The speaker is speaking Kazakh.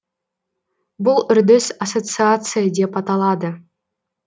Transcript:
бұл үрдіс ассоциация деп аталады